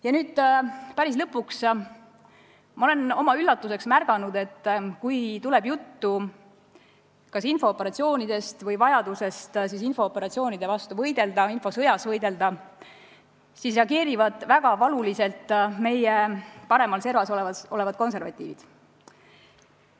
Ja nüüd päris lõpetuseks: ma olen oma üllatuseks märganud, et kui tuleb juttu infooperatsioonidest või vajadusest nende vastu võidelda, infosõjas võidelda, siis reageerivad väga valuliselt saali paremas servas istuvad konservatiivid.